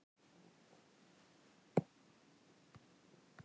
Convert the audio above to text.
Vertíðin á Hornafirði stóð fyrir dyrum og bátar af Eskifirði flykktust þangað.